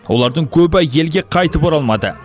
олардың көбі елге қайтып оралмады